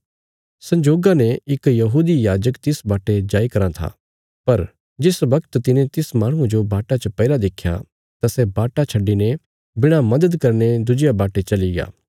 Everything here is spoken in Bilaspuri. संजोगा ने इक यहूदी याजक तिस वाटे जाई कराँ था पर जिस वगत तिने तिस माहणुये जो वाटा च पईरा देख्या तां सै वाटा छड्डिने बिणा मदद करीने दुज्जिया वाटे चलिग्या